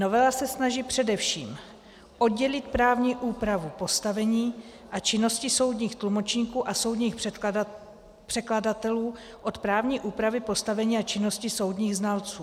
Novela se snaží především oddělit právní úpravu postavení a činnosti soudních tlumočníků a soudních překladatelů od právní úpravy postavení a činnosti soudních znalců.